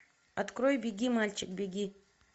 открой беги мальчик беги